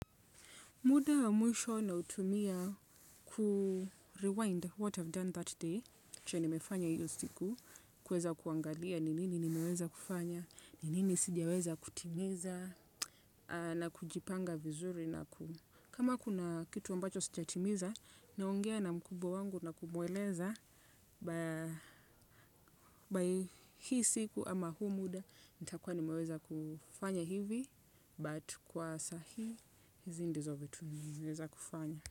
Muda wa mwisho nautumia Kurewind what I've done that day, chenye nimefanya hiyo siku, kuweza kuangalia nini nimeweza kufanya, nini sijaweza kutimiza, na kujipanga vizuri. Na kama kuna kitu ambacho sijatimiza, naongea na mkubwa wangu na kumweleza, By hii siku ama huu muda, nitakuwa nimeweza kufanya hivi, but kwa saa hii, hizi ndizo vitu nimeweza kufanya.